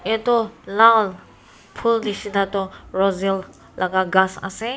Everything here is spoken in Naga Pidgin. lal phol neshina tho rosel laka ghass ase.